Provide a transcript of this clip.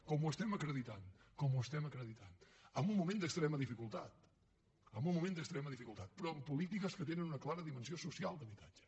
com ho estem acreditant com ho estem acreditant en un moment d’extrema dificultat en un moment d’extrema dificultat però amb polítiques que tenen una clara dimensió social d’habitatge